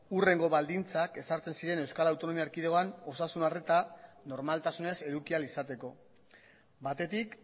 hurrengo baldintzak ezartzen ziren euskal autonomia erkidegoan osasun arreta normaltasunez eduki ahal izateko batetik